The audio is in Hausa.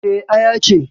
Eh, Aya ce